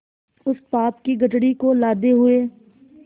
उस पाप की गठरी को लादे हुए